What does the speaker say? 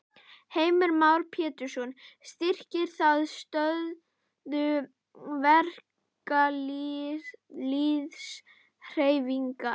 Heimir Már Pétursson: Styrkir það stöðu verkalýðshreyfingarinnar?